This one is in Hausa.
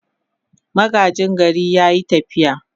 Magaji gari ya yi tafiya.